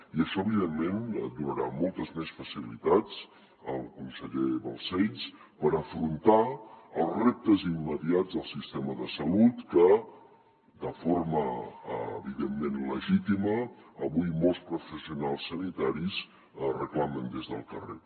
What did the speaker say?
i això evidentment donarà moltes més facilitats al conseller balcells per afrontar els reptes immediats del sistema de salut que de forma evidentment legítima avui molts professionals sanitaris reclamen des del carrer